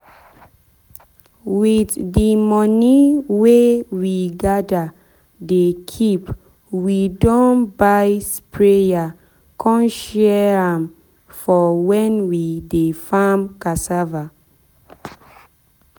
with de money wey we gather dey keepwe don buy sprayer con share am for when we dey farm cassava.